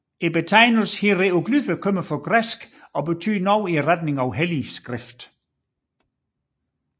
Betegnelsen hieroglyffer kommer fra græsk og betyder noget i retningen af hellig skrift